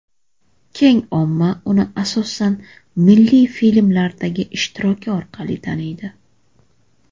Keng omma uni asosan milliy filmlardagi ishtiroki orqali taniydi.